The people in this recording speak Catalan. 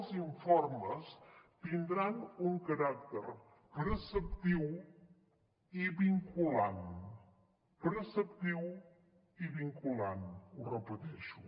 els informes tindran un caràcter preceptiu i vinculant preceptiu i vinculant ho repeteixo